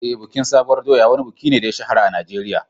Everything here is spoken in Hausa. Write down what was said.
Eh, bikin sabuwar doya wani buki ne da ya shahara a Najeriya.